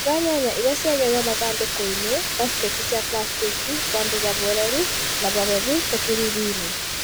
Iga nyanya iria ciagethwo mathandũkũinĩ (baketi cia plastĩki ) handũ hahoreru na hahehu ta kĩruruinĩ